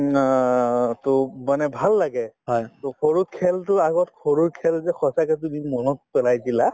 উম অ to মানে ভাল লাগে to সৰুত খেলতো আগত সৰুৰ খেল যে সঁচাকে তুমি মনত পেলাই দিলা